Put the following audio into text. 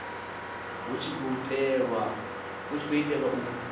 hu tshi khou itelwa u